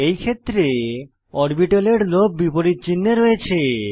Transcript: এই ক্ষেত্রে অরবিটালের লোব বিপরীত চিনহে থাকে